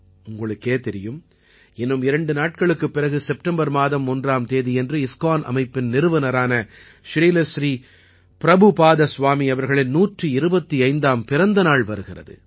உங்களுக்கே தெரியும் இன்னும் இரண்டு நாட்களுக்குப் பிறகு செப்டம்பர் மாதம் ஒன்றாம் தேதியன்று இஸ்கான் அமைப்பின் நிறுவனரான ஸ்ரீலஸ்ரீபிரபுபாதஸ்வாமி அவர்களின் 125ஆம் பிறந்த நாள் வருகிறது